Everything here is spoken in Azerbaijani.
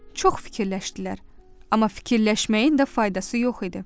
Çox fikirləşdilər, amma fikirləşməyin də faydası yox idi.